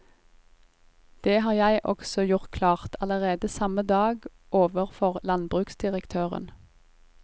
Det har jeg også gjort klart allerede samme dag overfor landbruksdirektøren.